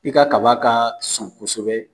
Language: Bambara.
I ka kaba ka sun kɔsɛbɛ.